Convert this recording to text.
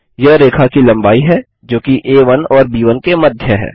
यह रेखा की लम्बाई है जो कि आ1 और ब1 के मध्य है